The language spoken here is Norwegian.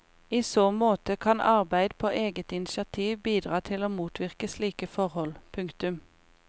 I så måte kan arbeid på eget initiativ bidra til å motvirke slike forhold. punktum